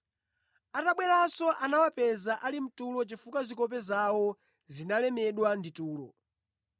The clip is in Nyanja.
Atabweranso anawapeza ali mtulo chifukwa zikope zawo zinalemedwa ndi tulo.